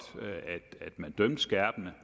at man dømte skærpende